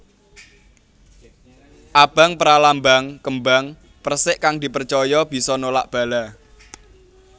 Abang pralambang kembang persik kang dipercaya bisa nolak bala